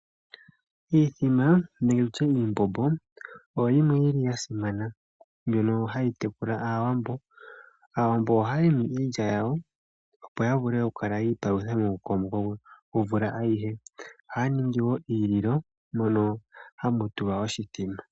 Iithima nenge tutye iimbombo oyo yimwe yili yasimana mbyono hayi tekula aawambo. Aawambo ohaya limi iilya yawo opo yavule okukala yiipalutha momukokomoko gomvula ayihe. Ohaya ningi wo iililo mono hamu tulwa oshithima.